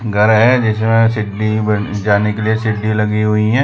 घर है जिसमें सिड्ढी ब जाने के लिए सिड्ढी लगी हुई हैं।